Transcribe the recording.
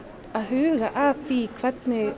að huga að því hvernig